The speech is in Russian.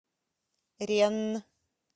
ренн